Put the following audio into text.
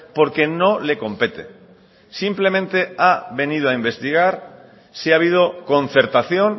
porque no le compete simplemente ha venido a investigar si ha habido concertación